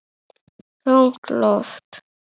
Þungt loft.